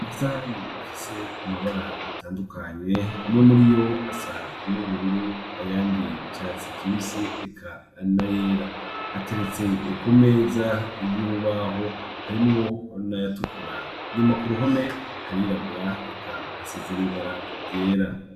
Amasahani afise amabara atandukanye. Amwe muri yo asa n'ubururu ayandi asa n'icatsi kibisi eka ayandi n'ayera. Ateretse ku meza y'urubaho harimwo n'ayatukura. Inyuma ku ruhome harirabura eka hasize n'ibara ryera.